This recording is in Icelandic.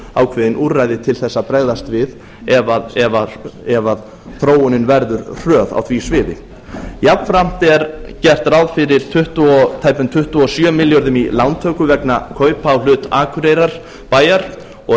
ákveðin úrræði til að bregðast við ef þróunin verður hröð á því sviði jafnframt er gert ráð fyrir tæpum tuttugu og sjö milljörðum í lántöku vegna kaupa á hlut akureyrarbæjar og